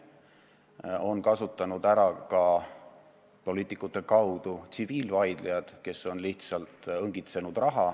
Seda on ära kasutanud ka poliitikute kaudu tsiviilvaidlejad, kes on lihtsalt raha õngitsenud.